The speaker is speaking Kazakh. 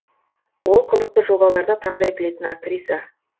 ол қызықты жобаларды таңдай білетін актриса